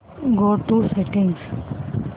go to settings